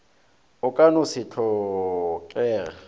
o ka no se tlhokege